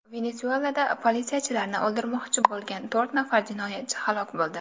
Venesuelada politsiyachilarni o‘ldirmoqchi bo‘lgan to‘rt nafar jinoyatchi halok bo‘ldi.